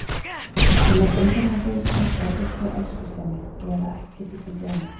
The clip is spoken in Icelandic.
Ég mæti engu nema vinsemd eða hreinni elskusemi, eða ekki get ég fundið annað.